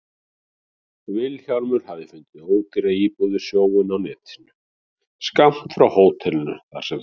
Vilhjálmur hafði fundið ódýra íbúð við sjóinn á netinu, skammt frá hótelinu þar sem þau